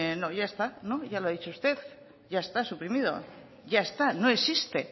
no ya está no ya lo ha dicho usted ya está suprimido ya está no existe